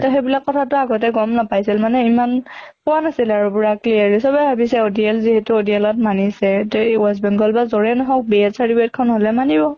তʼ সেইবিলাক কথাটো আগতে গম নাপাইছিল মানে ইমান কোৱা নাছিল আৰু পুৰা clearly, চবে ভাবিছে ODL যিহেতু ODL ত মানিছে তে west bengal বা যʼৰে নহওঁক B.Ed certificate খন হʼলে মানিব।